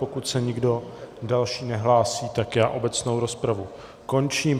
Pokud se nikdo další nehlásí, tak já obecnou rozpravu končím.